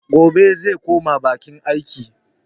Gobe zai koma bakin aiki.